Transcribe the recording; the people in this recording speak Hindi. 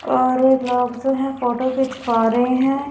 सारे लोग से हैं फोटो खींच पा रहे हैं।